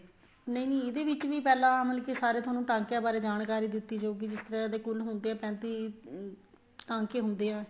ਨਹੀਂ ਨਹੀਂ ਇਹਦੇ ਵਿੱਚ ਵੀ ਪਹਿਲਾ ਮਤਲਬ ਕੀ ਸਾਰੇ ਤੁਹਾਨੂੰ ਟਾਕਿਆਂ ਬਾਰੇ ਜਾਣਕਾਰੀ ਦਿੱਤੀ ਜਾਊਗੀ ਜਿਸ ਤਰ੍ਹਾਂ ਤੁਹਾਡੇ ਕੁੱਲ ਹੁੰਦੇ ਏ ਪੈਤੀ ਟਾਂਕੇ ਹੁੰਦੇ ਆ